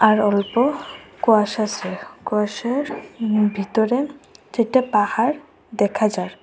আর অল্প কুয়াশা আসে আর কুয়াশার ভিতরে দুটা পাহাড় দেখা যার।